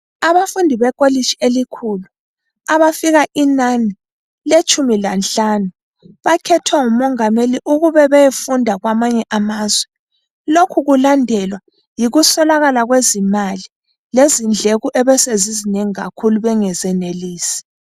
Abafundi bekolitshi elikhulu abafika inani letshumi lanhlanu bakhethwa ngumongameli ukuba bayefunda kwamanye amazwe. Lokhu kulandelwa yikuswelakala kwezimali lezindleko ebesezizinengi kakhulu bengazenelisi.